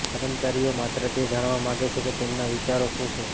કર્મચારીઓ માત્ર તે જાણવા માગે છે કે તેમના વિચારો શું છે